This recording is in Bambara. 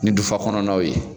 Ni dufa kɔnɔ naw ye.